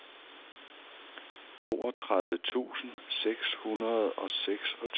toogtredive tusind seks hundrede og seksogtyve